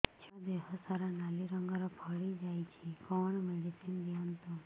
ଛୁଆ ଦେହ ସାରା ନାଲି ରଙ୍ଗର ଫଳି ଯାଇଛି କଣ ମେଡିସିନ ଦିଅନ୍ତୁ